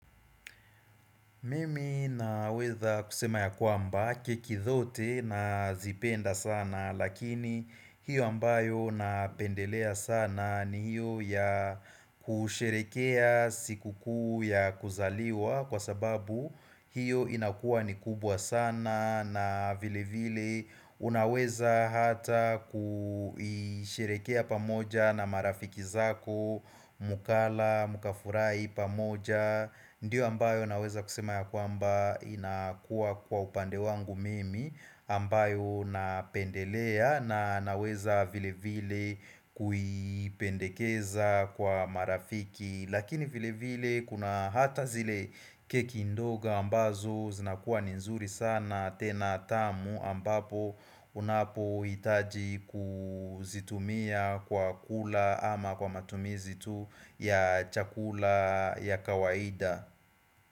Mimi naweza kusema ya kwamba keki zote nazipenda sana lakini hiyo ambayo napendelea sana ni hiyo ya kusherehekea siku kuu ya kuzaliwa kwa sababu hiyo inakuwa ni kubwa sana na vile vile unaweza hata kusherehekea pamoja na marafiki zako mukala mukafurai pamoja Ndiyo ambayo naweza kusema ya kwamba inakuwa kwa upande wangu mimi ambayo napendelea na naweza vile vile kuiipendekeza kwa marafiki Lakini vile vile kuna hata zile keki ndogo ambazo zinakuwa ni nzuri sana tena tamu ambapo unapo hitaji kuzitumia kwa kula ama kwa matumizi tu ya chakula ya kawaida.